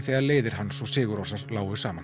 þegar leiðir hans og sigur rósar lágu saman